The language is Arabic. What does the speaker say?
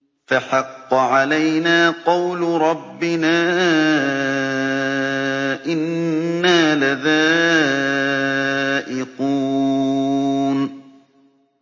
فَحَقَّ عَلَيْنَا قَوْلُ رَبِّنَا ۖ إِنَّا لَذَائِقُونَ